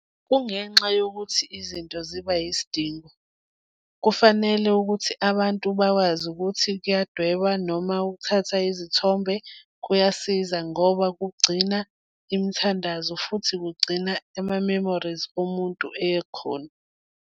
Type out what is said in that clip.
Kungenxa yokuthi izinto ziba yisidingo. Kufanele ukuthi abantu bakwazi ukuthi kuyadwebwa noma ukuthatha izithombe kuyasiza ngoba kugcina imithandazo futhi kugcina ama-memories bomuntu ekhona.